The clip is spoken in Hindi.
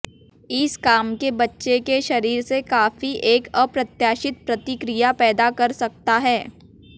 इस काम के बच्चे के शरीर से काफी एक अप्रत्याशित प्रतिक्रिया पैदा कर सकता है